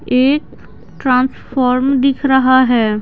एक ट्रांसफॉर्म दिख रहा है।